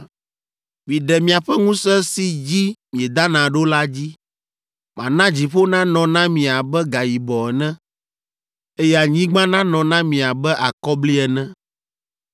Maɖe miaƒe ŋusẽ si dzi miedana ɖo la dzi, mana dziƒo nanɔ na mi abe gayibɔ ene, eye anyigba nanɔ na mi abe akɔbli ene.